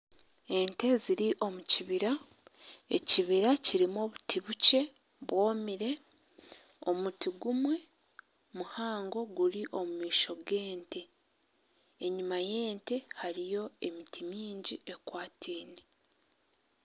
Ente ziri omukibira ekibira kirimu obuti bukye bwomire omuti gumwe muhango guri omumaisho gente enyuma yente hariyo emiti mingi ekwataine